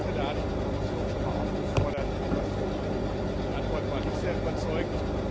Da habe ich die Kommission schon mal aufgefordert, etwas zu tun die Antwort war nicht sehr überzeugend.